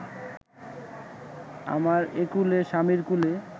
আমার একুলে–স্বামীর কুলে